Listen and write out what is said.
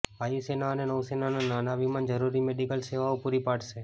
વાયુસેના અને નૌસેનાના નાના વિમાન જરુરી મેડિકલ સેવાઓ પુરી પાડશે